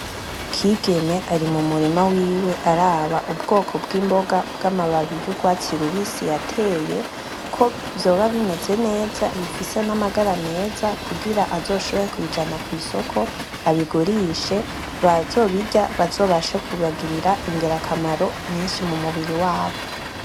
Kigeme ari mu murima wiwe araba ubwoko bw’imboga bw’amababi y’urwatsi rubisi yateye, ko vyoba bimeze neza bifise n’amagara meza kugira azoshobore kubijana kw’isoko, abigurishe, bazobashe kubagirira ingirakamaro nyinshi mu mubiri wabo.